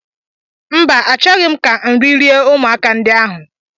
Mba, Achọghị m ka nri rie ụmụaka ndị a ahụ